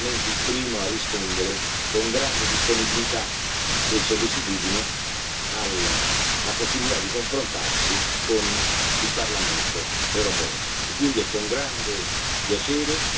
Lo ringrazio per essere stato il primo a rispondere con grande disponibilità e sollecitudine alla possibilità di confrontarsi con il Parlamento europeo.